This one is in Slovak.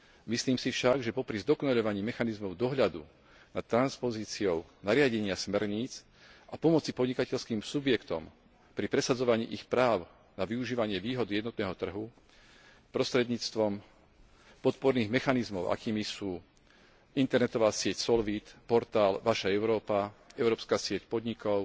Myslím si však, že popri zdokonaľovaní mechanizmov dohľadu nad transpozíciou nariadenia smerníc a pomoci podnikateľským subjektom pri presadzovaní ich práv na využívanie výhod jednotného trhu prostredníctvom podporných mechanizmov, akými sú internetová sieť Solvit, portál Vaša Európa, Európska sieť podnikov,